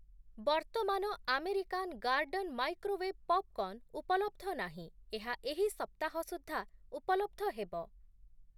ବର୍ତ୍ତମାନ American garden microwave popcorn ଉପଲବ୍ଧ ନାହିଁ, ଏହା ଏହି ସପ୍ତାହ ସୁଦ୍ଧା ଉପଲବ୍ଧ ହେବ ।